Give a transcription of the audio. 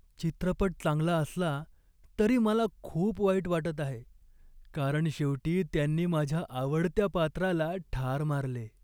चित्रपट चांगला असला तरी मला खूप वाईट वाटत आहे कारण शेवटी त्यांनी माझ्या आवडत्या पात्राला ठार मारले.